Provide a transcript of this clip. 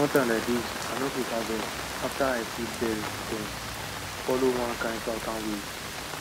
one time like dis i no quick harvest after i see birds dem follow one kind southern way